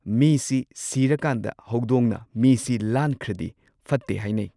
ꯃꯤꯁꯤ ꯁꯤꯔꯀꯥꯟꯗ ꯍꯧꯗꯣꯡꯅ ꯃꯤꯁꯤ ꯂꯥꯟꯈ꯭ꯔꯗꯤ ꯐꯠꯇꯦ ꯍꯥꯏꯅꯩ꯫